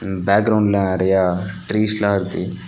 பேக்ரவுண்ட்ல நெறைய ட்ரீஸ் எல்லா இருக்கு.